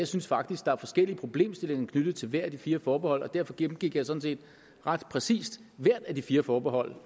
synes faktisk der er forskellige problemstillinger knyttet til hvert af de fire forbehold derfor gennemgik jeg sådan set ret præcist hvert af de fire forbehold